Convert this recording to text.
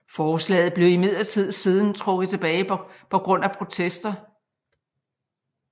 Forslaget blev imidlertid siden trukket tilbage på grund af protester